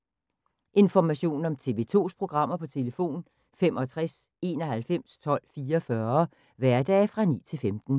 Information om TV 2's programmer: 65 91 12 44, hverdage 9-15.